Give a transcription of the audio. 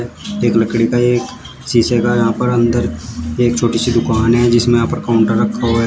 एक लकड़ी का एक शीशे का यहां पर अंदर एक छोटी सी दुकान है जिसमें यहां पर काउंटर रखा हुआ है।